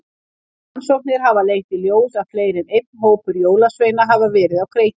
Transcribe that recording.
Rannsóknir hafa leitt í ljós að fleiri en einn hópur jólasveina hafa verið á kreiki.